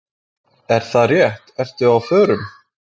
Er það rétt, ertu á förum?